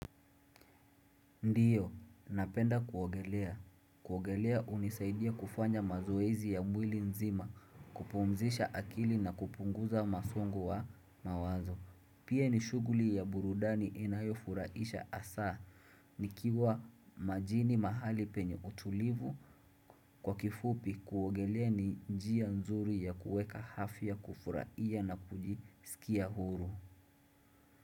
Ndiyo, napenda kuogelea. Kuogelea unisaidia kufanya mazoezi ya mwili nzima kupumzisha akili na kupunguza masongo wa mawazo. Pia nishuguli ya burudani inayofuraisha asa nikiwa majini mahali penye utulivu kwa kifupi kuogelea ni njia nzuri ya kuweka hafi ya kufuraia na kujisikia huru.